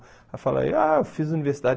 Eu falava, ah eu fiz universidade.